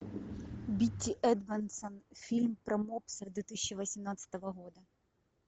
битти эдмондсон фильм про мопса две тысячи восемнадцатого года